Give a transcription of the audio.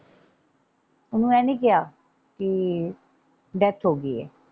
ਓਹਨੂੰ ਇਹ ਨਹੀਂ ਕਿਹਾ ਕਿ ਡੈਥ ਹੋ ਗਈ ਏ।